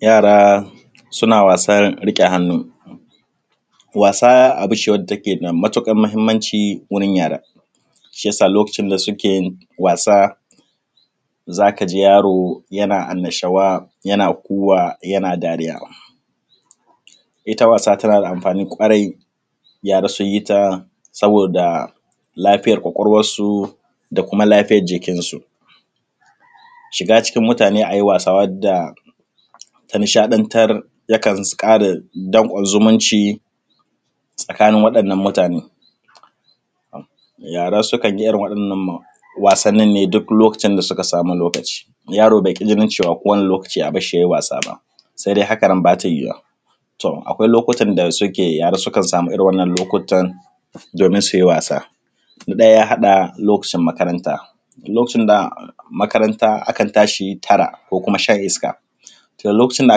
Yara suna wasan riƙe hannu. Wasa abu ne wacce take da matuƙar muhimmanci wurin yara shi yasa in suna wasa za ka ji yaro yana annashuwa, yana kuwa, yana dariya. Ita wasa tana na da amfani ƙwarai yara su yi ta saboda lafiyar ƙwaƙwalwansu, da kuma lafiyan jikinsu. Shiga cikin mutane a yi wasa wanda ta nishadantar yakan ƙara danƙon zumunci tsakanin waɗanan mutane. Yara sukan yi irin waɗannan wasanin ne duk lokacin ya suka samu lokacin. Yaro bai ƙi jinin ko yaushe a bar shi yayi wasa ba, sai dai hakan nan bata yiwuwa. Akwai lokutan da suke yara sukan samu irin wannan lokutan domin su yi wasa. Na ɗaya ya haɗa lokacin makaranta, lokacin makaranta akan tashi tara, ko kuma shan iska. Lokacin da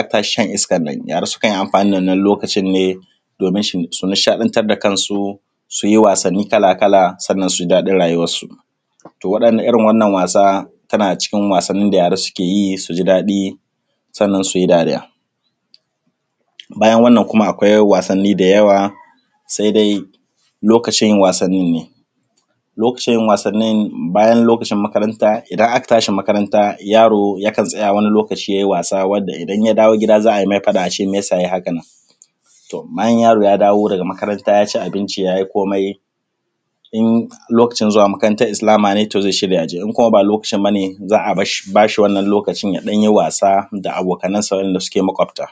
aka tashi shan iskan nan yara sukan yi amfani da wannan lokacin ne domin su nishadantar da kansu, su yi wasanni kala kala, sannan su ji daɗin rayuwansu. To irin wannan wasa tana daga cikin wasannin da yara suke yi su ji daɗi, sannan su yi dariya. Bayan wannan kuma akwai wasanni da yawa sai dai lokacin wasanin ne, lokacin wasanin bayan lokacin makaranta idan aka tashi makaranta yaro yakan tsaya wani lokacin ya yi wasa wanda idan ya dawo gida za a yi mai faɗa a ce mai yasa yayi hakan. Bayan yaro ya dawo daga makaranta ya ci abinci ya yi komai in lokacin zuwa makaranta islama ne zai shirya ya je in kuma ba lokacin bane, za a ba shi wannan lokacin ya ɗan yi wasa da abokanan sa waɗanda suke maƙwabta.